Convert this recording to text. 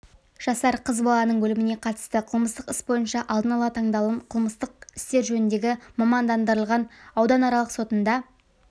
жасар қыз баланың өліміне қатысты қылмыстық іс бойынша алдын-ала тыңдалым қылмыстық істер жөніндегі мамандандырылған ауданаралық сотында